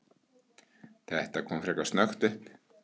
Þetta kom frekar snöggt upp.